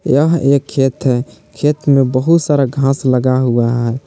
यह एक खेत है खेत में बहुत सारा घास लगा हुआ है।